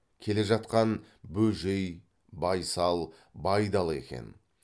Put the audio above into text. келе жатқан бөжей байсал байдалы екен